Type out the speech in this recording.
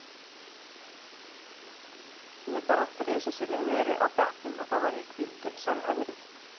Ég hef bara þrisvar sinnum verið á bekknum og þá var ég hvíldur, sagði Henry.